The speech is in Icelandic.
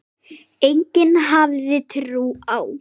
Enginn hafði trú á